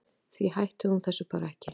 Því hætti hún þessu bara ekki.